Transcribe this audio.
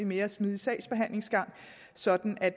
mere smidig sådan at